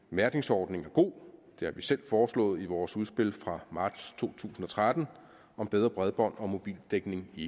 mærkningsordning er god det har vi selv foreslået i vores udspil fra marts to tusind og tretten om bedre bredbånd og mobildækning i